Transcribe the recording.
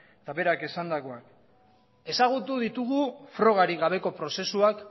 eta berak esandakoa ezagutu ditugu frogarik gabeko prozesuak